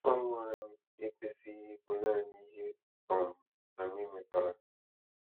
Ọṅụ anyị ekwesịghị ịbụ naanị ihe um anyị nwetara.